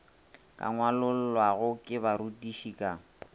ka ngwalollwago ke barutiši ka